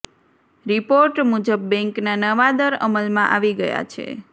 report મુજબ બેંકના નવા દર અમલમાં આવી ગયા છે